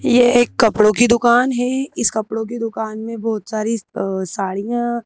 ये एक कपड़ों की दुकान है इस कपड़ों की दुकान में बहुत सारी अ साड़ियां--